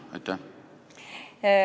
Aitäh!